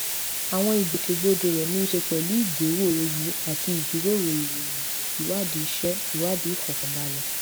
àwọn ìgbòkègbodò rè ní í ṣe pẹlú ìgbéwò ewu àti ìjíròrò ìròyìn ìwádìí iṣẹ ìwádìí ìfòkànbalẹ